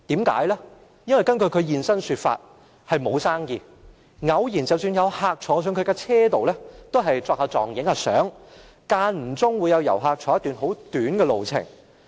根據他現身說法，是因為沒有生意，即使偶爾有客人坐在他的車上，也只是擺姿勢拍照，間中會有遊客乘坐一段很短的路程。